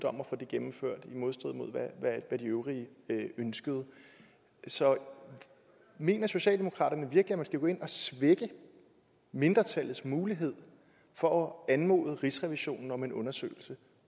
om at få det gennemført i modstrid med hvad de øvrige ønskede så mener socialdemokratiet virkelig at man skal gå ind og svække mindretallets mulighed for at anmode rigsrevisionen om en undersøgelse